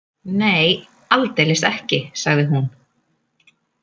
Nei, aldeilis ekki, sagði hún.